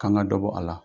K'an ka dɔ bɔ a la